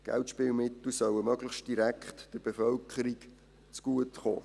Geldspielmittel sollten möglichst direkt der Bevölkerung zugutekommen.